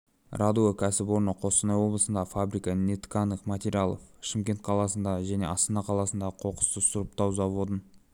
радуга кәсіпорны қостанай облысындағы фабрика нетканых материалов шымкент қаласындағы және астана қаласындағы қоқысты сұрыптау заводын